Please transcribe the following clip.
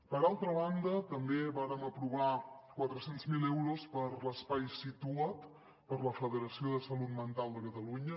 per altra banda també vàrem aprovar quatre cents miler euros per a l’espai situa’t per a la federació salut mental de catalunya